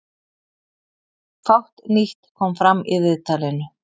Fátt nýtt kom fram í viðtalinu